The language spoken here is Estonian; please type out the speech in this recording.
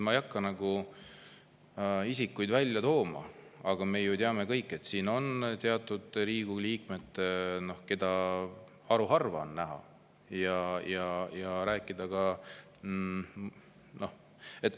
Ma ei hakka isikuid välja tooma, aga me ju teame kõik, et on teatud Riigikogu liikmed, keda haruharva on näha.